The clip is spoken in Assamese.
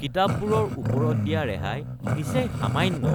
কিতাপবোৰৰ ওপৰত দিয়া ৰেহাই নিচেই সামান্য